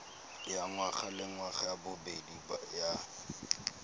ya ngwagalengwaga ya bobedi ya